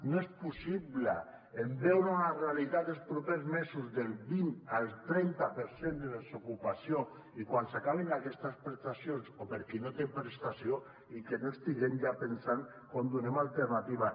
no és possible en veure una realitat dels propers mesos del vint al trenta per cent de desocupació i quan s’acabin aquestes prestacions o per a qui no té prestació que no estiguem ja pensant com donem l’alternativa